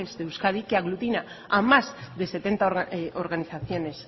de euskadi que aglutina a más de setenta organizaciones